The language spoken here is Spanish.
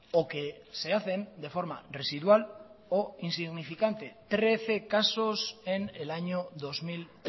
o que se hacen de forma residual o insignificante trece casos en el año dos mil